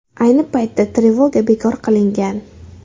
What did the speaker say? Ayni paytda trevoga bekor qilingan.